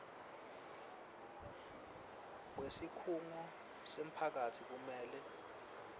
wesikhungo semphakatsi kumele